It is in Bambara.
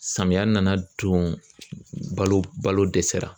Samiyɛ nana don balo balo dɛsɛra